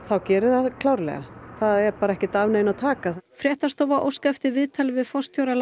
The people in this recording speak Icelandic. þá gerir það klárlega það er ekki af neinu að taka fréttastofa óskaði eftir viðtali við forstjóra